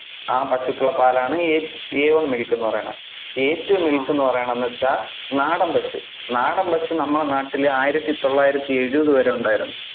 ആ പശുക്കളുടെ പാലാണ് എ~ a one milk എന്ന് പറയുന്നത്, A two milk എന്ന് പറയുന്നത് എന്ന് വെച്ചാൽ നാടൻ പശു, നാടൻ പശു നമ്മുടെ നാട്ടില് ആയിരത്തി തൊള്ളായിരത്തി എഴുപതു വരെ ഉണ്ടായിരുന്നു.